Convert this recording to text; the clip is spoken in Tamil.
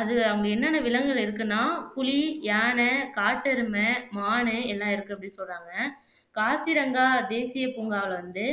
அது அங்க என்னன்ன விலங்குகள் இருக்குன்னா புலி, யானை, காட்டெருமை, மானு எல்லாம் இருக்கு அப்படின்னு சொல்லுறாங்க காசிரங்கா தேசிய பூங்காவுல வந்து